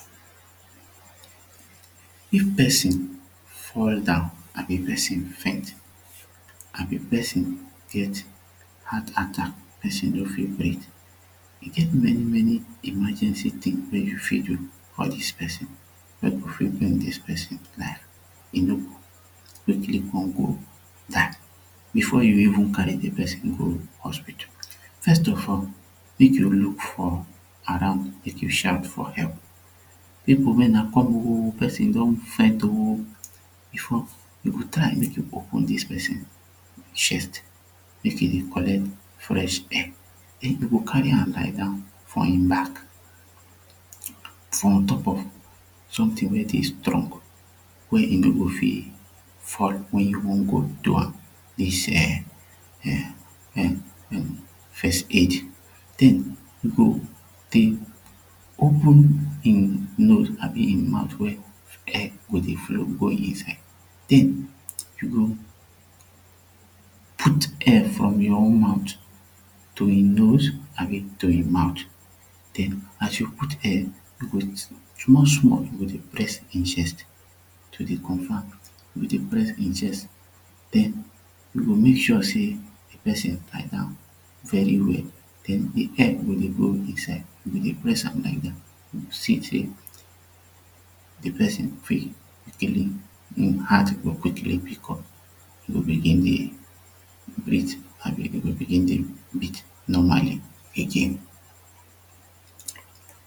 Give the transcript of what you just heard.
If person fall down abi person faint abi person get heart attack pesin no fit breath e get many many emergency thing wey you fit do for this person wey go fit make this person e no go quickly go die before you even carry the person go hospital. First of all make you look for around make you shout for help people make Una come oo person don faint o before you go try make you open dis person shirt make e dey collect fresh I air den you go carry am lie down for him back for ontop of sometin wey dey strong wey e no go fit fall wey e no go trow am This um um um first aid then you go dey go open him nose...abi him mout wey air go dey flow inside den you go put air from your own mout to him nose an abi to him mouth den as you put air small small you go dey press him chest then you make sure say de person lie down very well the person lie down very well den de air go dey go inside you begin press am to see seh de person breat even heart go quickly e go begin dey breath and him breath go normal again